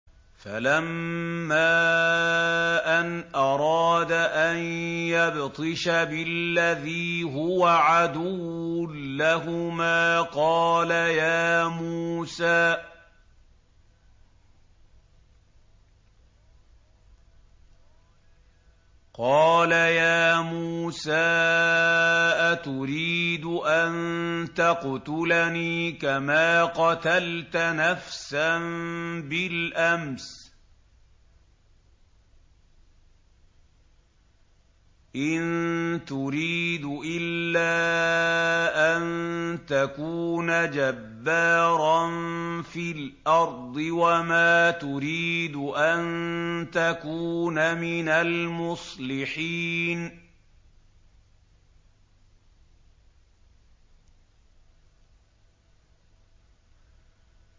فَلَمَّا أَنْ أَرَادَ أَن يَبْطِشَ بِالَّذِي هُوَ عَدُوٌّ لَّهُمَا قَالَ يَا مُوسَىٰ أَتُرِيدُ أَن تَقْتُلَنِي كَمَا قَتَلْتَ نَفْسًا بِالْأَمْسِ ۖ إِن تُرِيدُ إِلَّا أَن تَكُونَ جَبَّارًا فِي الْأَرْضِ وَمَا تُرِيدُ أَن تَكُونَ مِنَ الْمُصْلِحِينَ